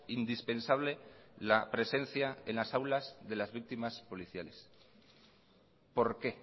indispensable la presencia en las aulas de las víctimas policiales por qué